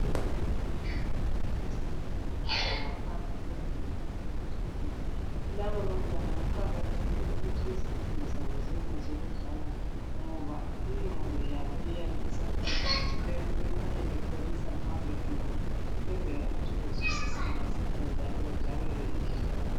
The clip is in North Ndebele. Abafundi bebanga eliphansi besezifundweni zabo ngaphandle kwegumbi lokufundela lababantwana kuqakathekile ukuthi izifundo zabo zibe ngezokudlala ngoba inqondo yabo iyabe usafuna ukuba bebe bekholisa besafunda ukwenzela ukuthi bezwise masinyane njalo bejabulela izifundo